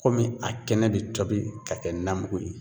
Kɔmi a kɛnɛ bɛ tobi ka kɛ namugu ye.